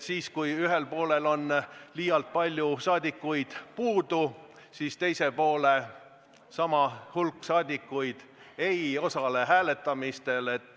Kui ühel poolel on palju saadikuid puudu, siis sama hulk saadikuid teiselt poolelt ei osale hääletamistel.